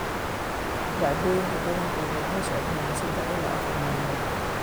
Dhacdooyinka badankood waxay socdaan sedax ilaa afar maalmood.